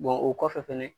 o kɔfɛ fɛnɛ